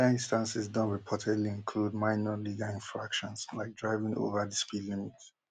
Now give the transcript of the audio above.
oda instances don reportedly include minor legal infractions like driving over di speed limit